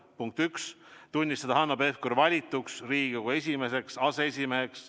Punkt üks: tunnistada Hanno Pevkur valituks Riigikogu esimeseks aseesimeheks.